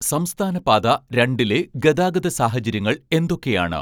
സംസ്ഥാനപാത രണ്ടിലെ ഗതാഗത സാഹചര്യങ്ങൾ എന്തൊക്കെയാണ്